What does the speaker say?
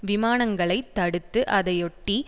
விமானங்களை தடுத்ததுஅதையொட்டி